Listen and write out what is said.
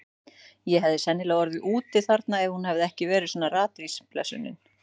Ég hefði sennilega orðið úti þarna ef hún hefði ekki verið svona ratvís, blessunin.